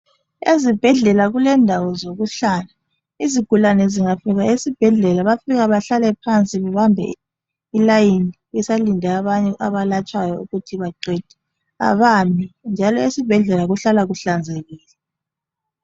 Ezibhedlela kulendawo zokuhlala izigulani zingafika esibhedlela bayafika bahlale phansi babambe ilayini besalinde abanye abalatshwayo ukuthi baqede abami njalo esibhedlela kuhlala kuhlanzekile.